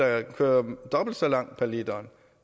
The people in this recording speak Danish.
jo ikke køre dobbelt så langt på literen